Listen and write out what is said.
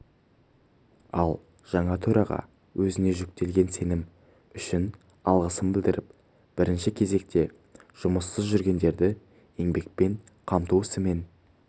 ал жаңа төраға өзіне жүктелген сенім үшін алғысын білдіріп бірінші кезекте жұмыссыз жүргендерді еңбекпен қамту ісімен